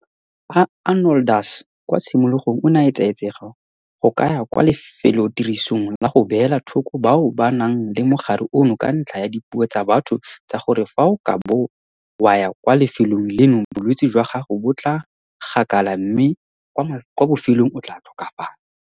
Arnoldus kwa tshimologong o ne a etsaetsega go ka ya kwa lefelotirisong la go beela thoko bao ba nang le mogare ono ka ntlha ya dipuo tsa batho tsa gore fa o ka bo wa ya kwa lefelong leno bolwetse jwa gago bo tla gakala mme kwa bofelong o tla tlhokafalang.